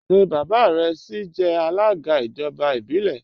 Ṣé baba rẹ síí jẹ alága ijọba ibilẹ?